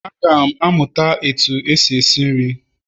Aga m amụta otú eji esi nri